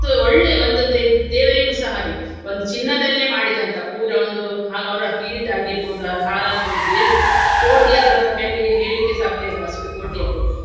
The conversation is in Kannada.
ಮತ್ತು ಒಳ್ಳೆ ಒಂದು ದೇ~ ದೇವರಿಗುಸ ಹಾಗೆಯೇ ಒಂದು ಚಿನ್ನದಲ್ಲೇ ಮಾಡಿದಂತಹ ಪೂರ ಒಂದು ಅವ್ರ ಕಿರೀಟ ಆಗಿರ್ಬಹುದು ಅವ್ರ ಹಾರ ಆಗಿರ್ಬಹುದು ಎಷ್ಟು ಕೋಟಿಯದ್ದಂತಹ ಹೇಳಿ ಹೇಳ್ಲಿಕ್ಕೆ ಸಾಧ್ಯ ಇಲ್ಲ ಅಷ್ಟು ಕೋಟಿಯದ್ದು